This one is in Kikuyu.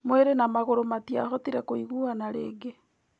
Mwĩrĩ na magũrũ matiahotire kũiguana rĩngĩ.